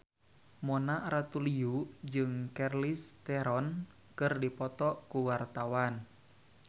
Mona Ratuliu jeung Charlize Theron keur dipoto ku wartawan